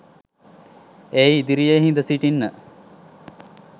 ඒ ඉදිරියේ හිද සිටින්න